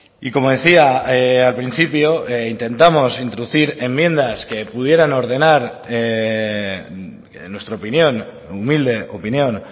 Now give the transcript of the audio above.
y como decía al principio intentamos introducir enmiendas que pudieran ordenar en nuestra opinión humilde opinión